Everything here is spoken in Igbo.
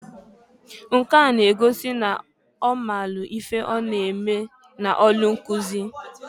Nke a n'egosi n'ọ maalụ ife ọ na-eme n'ọlụ nkụzị.